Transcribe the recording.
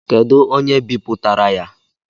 Kedụ onye bipụtara ya?